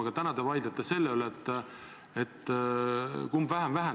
Aga täna te vaidlete selle üle, kumb väheneb vähem.